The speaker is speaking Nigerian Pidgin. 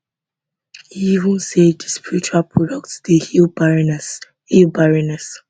e even say di spiritual products dey heal barrenness heal barrenness